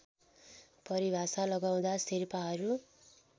परिभाषा लगाउँदा शेर्पाहरू